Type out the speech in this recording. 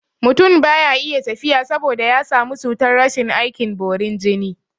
Mutun baya iya tafiya saboda ya samu cutar rashin aikin bari jiri